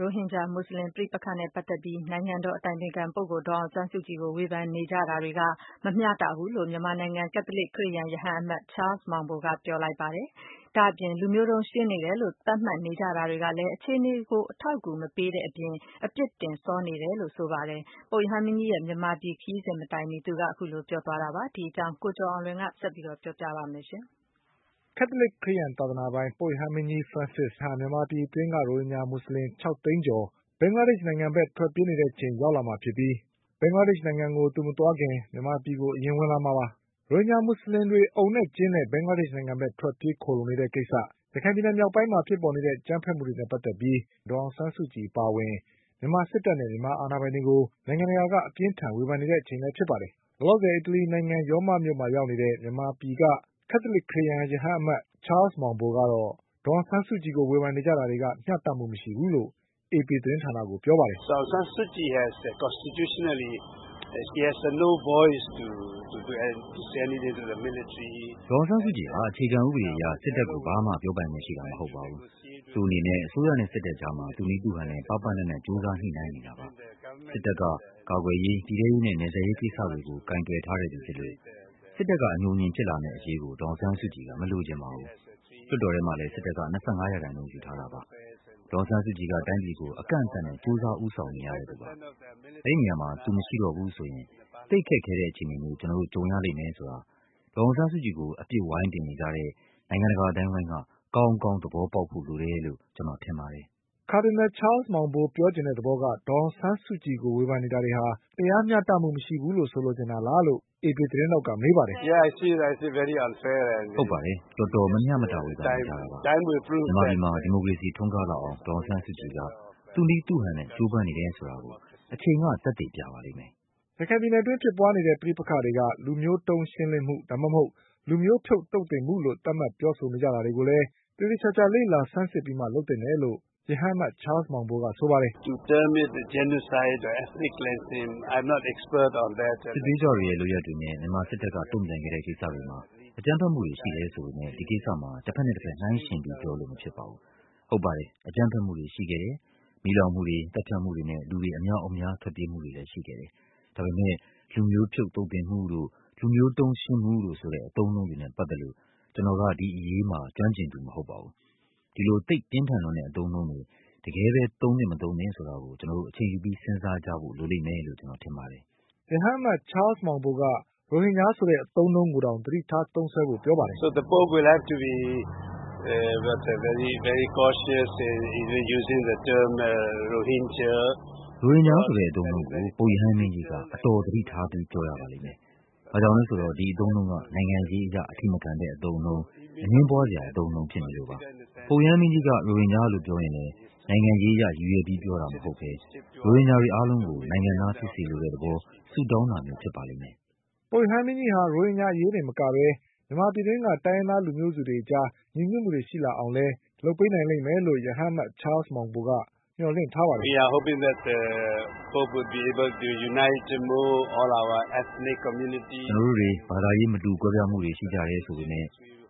ရိုဟင်ဂျာမူဆလင်ပဋိပက္ခနဲ့ပတ်သက်ပြီး နိုင်ငံတော် အတိုင်ပင်ခံပုဂ္ဂိုလ်ဒေါ်အောင် ဆန်းစုကြည်ကို ဝေဖန်နေကြတာတွေက မျှတမှုမရှိဘူးလို့ မြန်မာနိုင်ငံက ကက်သလစ်ခရစ်ယာန်ရဟန်းအမတ် ချားလ်စ် မောင်ဘိုကပြောဆိုလိုက်ပြီး လူမျိုးတုန်းရှင်းလင်းမှုတွေ လုပ်နေတယ်ဆိုပြီး သတ်မှတ်နေကြတာတွေကလည်း အခြေ အနေတွေကို အထောက်အကူမပေးတဲ့အပြင် အပြစ်တင်စောနေတယ်လို့ဆိုပါတယ်။ ပုပ်ရဟန်းမင်းကြီးရဲ့ မြန်မာပြည်ခရီး စဉ်မတိုင်မှီ အခုလိုပြောဆိုခဲ့တာပါ။ ဒီအကြောင်း ကိုကျော်အောင်လွင်က ဆက်ပြီးပြောပြပါလိမ့်မယ်။ ကက်သလစ်ခရစ်ယန်သာသနာပိုင် ပုပ်ရဟန်းမင်းကြီး ဖရန်စစ်နောက်တပတ်ထဲမှာ မြန်မာနိုင်ငံကိုရောက်လာပါလိမ့်မယ်။ သူ့ရဲ့ဒီခရီးစဉ်ဟာ မြန်မာပြည်အတွင်းက ရိုဟင်ဂျာမူဆလင်၆သိန်းကျော်ဘင်္ဂလားဒေ့ချ်နိုင်ငံ ဘက်ထွက်ပြေးနေတဲ့အချိန် ရောက်လာမှာဖြစ်ပြီး ဘင်္ဂလားဒေ့ချ်နိုင်ငံကို သူမသွားခင် မြန်မာပြည်ကိုအရင်ဝင်လာမှာပါ။ ရိုဟင်ဂျာမူဆလင်တွေအုံနဲ့ ကျင်းနဲ့ဘင်္ဂလားဒေ့ချ်နိုင်ငံဘက်ထွက်ပြီးခိုလှုံနေတဲ့ကိစ္စ၊ ရခိုင်ပြည်နယ်မြောက်ပိုင်းမှာဖြစ်ပေါ် ခဲ့တဲ့အကြမ်းဘက်မှုတွေနဲ့ ပတ်သက်ပြီး ငြိမ်းချမ်း ရေးနိုဘလ်ဆုရထားတဲ့ ဒေါ်အောင်ဆန်းစုကြည်အပါအဝင် မြန်မာစစ် တပ်နဲ့မြန်မာအာဏာပိုင် တွေကို နိုင်ငံတကာက အပြင်းအထန်ဝေဖန်နေကြတာပါ။ လောလောဆယ်အီတလီနိုင်ငံရောမ မြို့ကိုရောက်နေတဲ့ မြန်မာနိုင်ငံက ကက်သလစ်ခရစ်ယာန်ရဟန်းအမတ် ချားလ်စ် မောင်ဘိုကတော့ ဒေါ်အောင်ဆန်းစု ကြည်ကိုဝေဖန်နေကြ တာတွေက မျှတမှုမရှိဘူးလို့အေပီသတင်းဌာနကိုပြောပါတယ်။ " ဒေါ်အောင်ဆန်းစုကြည်ဟာ အခြေခံဥပဒေအရ စစ်တပ်ကို ဘာမှပြောပိုင်ခွင့်ရှိတာမဟုတ်ပါဘူး။ သူ့အနေနဲ့အစိုးရနဲ့ စစ်တပ်အကြားမှာ သူ့နည်းသူ့ဟန်နဲ့ ပါးပါးနပ်နပ်ကြိုးစားညှိနှိုင်းနေတာပါ။ စစ်တပ်က ကာကွယ်ရေး၊ပြည်ထဲရေးနဲ့ နယ်စပ်ရေးကိစ္စတွေကိုကိုင်တွယ်ထားတဲ့သူဖြစ်လို့ စစ်တပ်ကအညိုအညင်ဖြစ်လာမယ့်အရေးကို ဒေါ်အောင်ဆန်းစု ကြည်က မလိုချင်ပါဘူး။ လွှတ်တော်ထဲမှာလည်း စစ်တပ်က၂၅ရာခိုင်နှုန်းယူထားတာပါ။ ဒေါ်အောင်ဆန်းစုကြည်က တိုင်းပြည်ကို အကန့်အသတ်နဲ့ကြိုးစားဦးဆောင်နေရတဲ့သူပါ။ အဲဒီနေရာမှာ သူမရှိတော့ဘူးဆိုရင် သိပ်ခက်ခဲတဲ့ အခြေ အနေမျိုးကျနော်တို့ကြုံရလိမ့်မယ်ဆိုတာ ဒေါ်အောင်ဆန်းစုကြည်ကို အပစ်ဝိုင်းတင်နေကြတဲ့နိုင်ငံတကာအသိုင်းအဝိုင်း ကကောင်းကောင်းသဘောပေါက်ဖို့လိုတယ်လို့ကျနော်ထင်ပါတယ်" ကာဒီနလ် ချားလ်စ်မောင်ဘိုပြောချင်တဲ့သဘောက ဒေါ်အောင်ဆန်းစုကြည် ကိုဝေဖန်နေတာတွေက တရားမျှတမှုမရှိဘူး လို့ဆိုလိုချင်တာလားလို့ အေပီသတင်းထောက်ကမေးပါတယ်။ "ဟုတ်ပါတယ်။ တော်တော် မမျှမတဝေဖန်နေကြတာပါ။ မြန်မာပြည်မှာ ဒီမိုကရေစီ ထွန်းကားလာအောင်ဒေါ်အောင်ဆန်းစု ကြည်က သူ့နည်းသူ့ဟန်နဲ့ကြိုးပမ်းနေတယ်ဆိုတာကို အချိန်က သက်သေပြပါလိမ့်မယ်။" ရခိုင်ပြည်နယ်အတွင်းဖြစ်ပွါးနေတဲ့ပဋိပက္ခတွေက လူမျိုးတုန်းရှင်းလင်းမှု ဒါမှမဟုတ် လူမျိုးဖြုတ်သုတ်သင်မှုလို့သတ်မှတ် ပြောဆိုနေကြတာတွေကိုလည်း သေသေချာချာ စစ်ဆေးလေ့လာပြီးမှပြောသင့်တယ်လို့ ရဟန်းအမတ် ချားလ်စ် မောင်ဘိုကဆိုပါတယ်။ "စစ်သွေးကြွတွေရဲ့လုပ်ရပ်တွေနဲ့မြန်မာစစ်တပ်ကတုန့်ပြန်ခဲ့တဲ့ကိစ္စတွေမှာ အကြမ်းဘက်မှုတွေရှိတယ်ဆိုပေမဲ့ ဒီကိစ္စမှာ တဘက်နဲ့ တဘက်နှိုင်းယှဉ်ပြီးပြောလို့မဖြစ်ပါဘူး။ ဟုတ်ပါတယ်။ အကြမ်းဘက်မှုတွေရှိခဲ့တယ်။ မီးလောင်မှုတွေ သတ် ဖြတ်မှုတွေနဲ့ လူတွေအမြောက်အများ ထွက်ပြေးမှုတွေလည်း ရှိခဲ့တယ်။ ဒါပေမဲ့ လူမျိုးဖြုတ်သုတ်သင်မှု တို့ လူမျိုးတုန်း ရှင်းမှုတို့ဆိုတဲ့ အသုံးအနှုန်းတွေနဲ့ပတ်သက်လို့ ကျနော်က ဒီအရေးမှာ ကျွမ်းကျင်သူမဟုတ်ပါဘူး။ ဒီလိုသိပ်ပြင်းထန်လွန်း တဲ့အသုံးအနှုန်းတွေ တကယ်ပဲ သုံးသင့် မသင့်ဆိုတာကို ကျနော်တို့ အချိန်ယူပြီးစဉ်းစားကြဖို့လိုလိမ့်မယ်လို့ ကျနော် ထင်ပါတယ်။" ရဟန်းအမတ် ချားလ်စ် မောင်ဘိုက ရိုဟင်ဂျာဆိုတဲ့အသုံးအနှုန်းကိုတောင် သတိထားထားသုံးစွဲဖို့ပြောပါတယ်။ "ရိုဟင်ဂျာဆိုတဲ့အသုံးအနှုန်းကို ပုပ်ရဟန်းမင်းကြီးက သတိ အတော်ထားပြီးပြောကြားရပါလိမ့်မယ်။ ဘာကြောင့်လဲဆို တော့ ဒီအသုံးအနှုန်းက နိုင်ငံရေးအရအထိမခံတဲ့အသုံးအနှုန်း၊ အငြင်းပွါးစရာအသုံးအနှုန်းဖြစ်နေလို့ပါ။ ပုပ်ရဟန်းမင်း ကြီးကရိုဟင်ဂျာလို့ပြောရင်လည်း နိုင်ငံရေးအရ ရည်ရွယ်ပြီးပြောတာမဟုတ်ပဲ ရိုဟင်ဂျာတွေအားလုံးကိုနိုင်ငံသားဖြစ် စေလိုတဲ့သဘော ဆုတောင်းတာမျိုးဖြစ်ပါလိမ့်မယ်" ပုပ်ရဟန်းမင်းကြီးဟာ ရိုဟင်ဂျာအရေးတင်မကပဲ တိုင်းရင်းသားလူမျိုးစုတွေ ညီညွတ်မှုရှိလာအောင်လည်းလုပ်ပေးနိုင် မယ်လို့ ရဟန်းအမတ် ချားလ်စ် မောင်ဘိုကမျှော်လင့်နေပါတယ်။ "ကျနော်တို့တွေ ဘာသာရေးမတူကွဲပြားမှုတွေရှိကြတယ်ဆိုပေမဲ့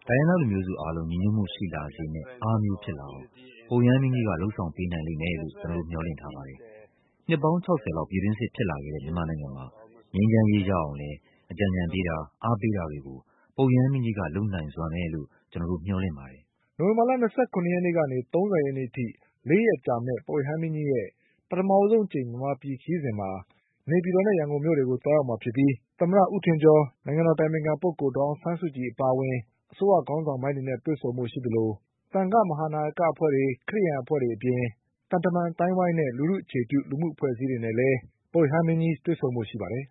တိုင်းရင်းသားလူမျိုးစု အားလုံးညီညွတ်မှုရှိလာစေမယ့် အားမျိုးဖြစ်လာအောင် ပုပ်ရဟန်းမင်းကြီးက လုပ်ဆောင်ပေးနိုင်လိမ့်မယ်လို့ ကျနော်တို့မျှော်လင့်ထားပါတယ်။ နှစ်ပေါင်း ၆၀လောက်ပြည်တွင်းစစ်ဖြစ်လာခဲ့တဲ့မြန်မာနိုင်ငံမှာ ငြိမ်းချမ်းရေးရအောင်လည်း အကြံအညဏ်ပေးတာ အားပေးတာတွေ ကို ပုပ်ရဟန်းမင်းကြီးက လုပ်နိုင်စွမ်းမယ်လို့ ကျနော်တို့မျှော်လင့်ပါတယ်" နိုဝင်ဘာ ၂၇ရက်ကနေ ၃၀ရက်နေ့အထိ၄ရက်ကြမယ့် ပုပ်ရဟန်းမင်းကြီးရဲ့ ပထမဆုံးမြန်မာပြည်ခရီးစဉ်မှာ နေပြည် တော်နဲ့ ရန်ကုန်မြို့တွေကို သွားရောက်မှာဖြစ်ပြီး သမ္မတဦးထင်ကျော်နဲ့ အတိုင်ပင်ခံပုဂ္ဂိုလ်ဒေါ်အောင်ဆန်းစုကြည် အပါ အဝင် အစိုးရခေါင်းဆောင်ပိုင်းတွေနဲ့တွေ့ဆုံဖို့ရှိပါတယ်။ သံဃာ့နာယကအဖွဲ့တွေ ခရစ်ယာန်အဖွဲ့တွေအပြင် သံတမန် အသိုင်းအဝိုင်းနဲ့ လူထုအခြေပြု လူမှုအဖွဲ့အစည်းတွေနဲ့လည်းတွေ့ဆုံဖို့ရှိပါတယ်